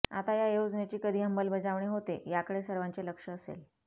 आता या योजनेची कधी अंमलबजावणी होते याकडे सर्वांचे लक्ष असेल